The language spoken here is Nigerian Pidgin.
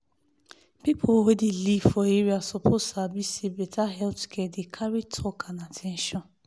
people wey dey live for area suppose sabi say better health care dey carry talk and at ten tion.